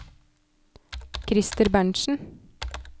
Christer Berntsen